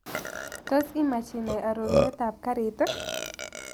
Tos' imaach inai arorunetap karit ii